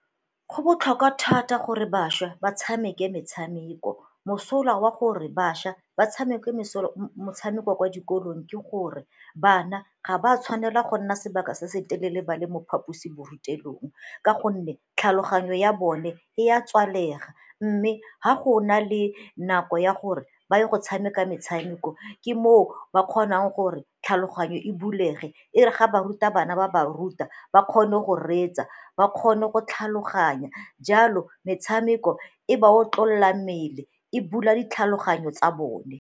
Go botlhokwa thata gore bašwa ba tshameke metshameko. Mosola wa gore bašwa ba tshameke metshameko ko dikolong ke gore bana ga ba tshwanela go nna sebaka se se telele ba le mo phaposiborutelong ka gonne tlhaloganyo ya bone e a tswalega mme ga go na le nako ya gore ba ye go tshameka metshameko ke moo ba kgonang gore tlhaloganyo e bulege, e re ga ba ruta bana ba ba ruta ba kgone go reetsa ba kgone go tlhaloganya jalo metshameko e ba otlolola mmele, e bula ditlhaloganyo tsa bone.